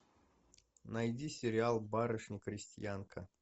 найди сериал барышня крестьянка